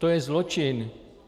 To je zločin.